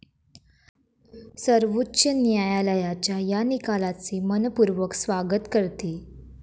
सर्वोच्च न्यायालयाच्या या निकालाचे मनपूर्वक स्वागत करते.